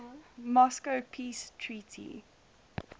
moscow peace treaty